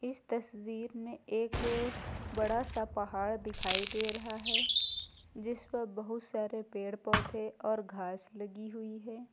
इस तस्वीर में एक बड़ा सा पहाड़ दिखाई दे रहा है जिसपर बहुत सारे पेड़ पौधे और घास लगी हुई है।